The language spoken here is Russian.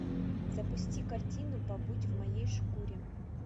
запусти картину побудь в моей шкуре